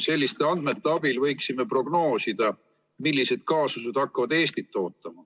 Selliste andmete abil võiksime prognoosida, millised kaasused hakkavad Eestit ootama.